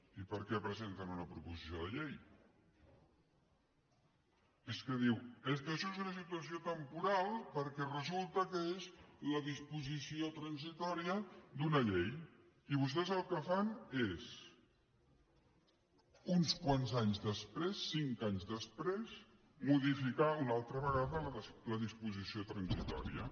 i per què presenten una proposició de llei és que diu és que això és una situació temporal perquè resulta que és la disposició transitòria d’una llei i vostès el que fan és uns quants anys després cinc anys després modificar una altra vegada la disposició transitòria